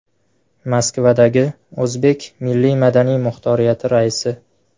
Moskvadagi O‘zbek milliy-madaniy muxtoriyati raisi.